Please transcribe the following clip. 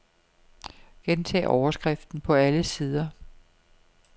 Gentag overskriften på alle sider.